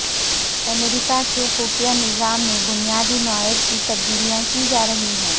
امریکہ کے خفیہ نظام میں بنیادی نوعیت کی تبدیلیاں کی جارہی ہیں